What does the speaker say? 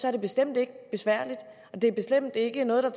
er det bestemt ikke besværligt og det er bestemt ikke noget der